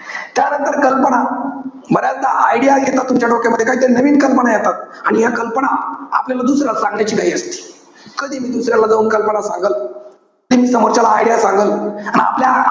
त्यानंतर, कल्पना, बऱ्याचदा idea येतात तुमच्या डोक्यामध्ये. काहीतरी नवीन कल्पना येतात. आणि ह्या कल्पना, आपल्याला दुसऱ्याला सांगायची घाई असते. कधी मी दुसऱ्याला जाऊन कल्पना सांगल, कधी मी समोरच्याला idea सांगल. आणि आपल्या